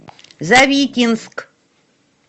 завитинск